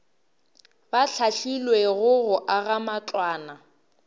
ba hlahlilwego go aga matlwana